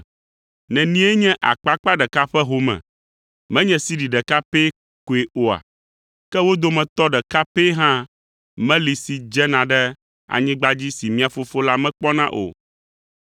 Nenie nye akpakpa ɖeka ƒe home? Menye sidi ɖeka pɛ koe oa? Ke wo dometɔ ɖeka pɛ hã meli si dzena ɖe anyigba dzi si mia Fofo la mekpɔna o.